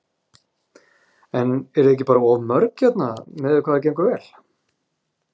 Eruð þið ekki bara of mörg hérna miðað við hvað gengur vel?